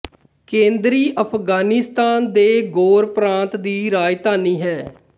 ਕੇਂਦਰੀ ਅਫ਼ਗਾਨਿਸਤਾਨ ਦੇ ਗੋਰ ਪ੍ਰਾਂਤ ਦੀ ਰਾਜਧਾਨੀ ਹੈ